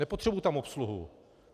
Nepotřebuji tam obsluhu.